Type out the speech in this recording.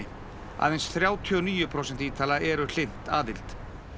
aðeins þrjátíu og níu prósent Ítala eru hlynnt aðild